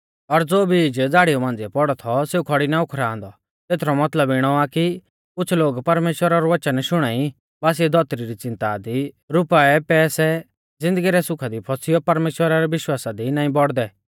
और ज़ो बीज झ़ाड़िऊ मांझ़िऐ पौड़ौ थौ सेऊ खौड़ी ना उखरांदौ तेथरौ मतलब इणौ आ कि कुछ़ लोग परमेश्‍वरा रौ वच़न शुणाई बासिऐ धौतरी री च़िन्ता दी रुपाऐपैसै ज़िन्दगी रै सुखा दी फसियौ परमेश्‍वरा रै विश्वासा दी नाईं बौड़दै